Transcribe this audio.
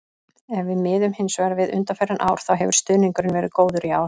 Ef við miðum hins vegar við undanfarin ár þá hefur stuðningurinn verið góður í ár.